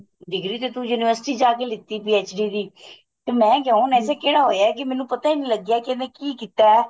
degree ਤੇ ਤੂੰ university ਜਾ ਕੇ ਲੀਤੀ PhD ਦੀ ਤੇ ਮੈਂ ਕਵਾ ਕਿਹੜਾ ਹੋਇਆ ਕੀ ਮੈਨੂੰ ਪਤਾ ਈ ਨੀਂ ਲੱਗਿਆ ਕੀ ਇਹਨੇ ਕੀ ਕੀਤਾ